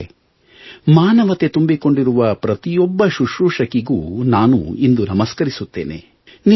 ಮಿತ್ರರೇ ಮಾನವತೆ ತುಂಬಿಕೊಂಡಿರುವ ಪ್ರತಿಯೊಬ್ಬ ಶುಶ್ರೂಶಕಿಗೂ ನಾನು ಇಂದು ನಮಸ್ಕರಿಸುತ್ತೇನೆ